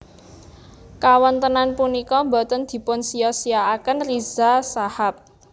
Kawontenan punika boten dipunsiya siyakaken Riza Shahab